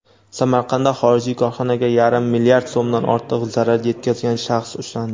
Samarqandda xorijiy korxonaga yarim mlrd so‘mdan ortiq zarar yetkazgan shaxs ushlandi.